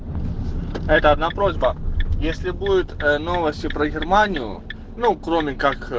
это одна просьба если будет новости про германию ну кроме как